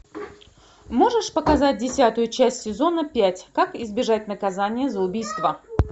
можешь показать десятую часть сезона пять как избежать наказания за убийство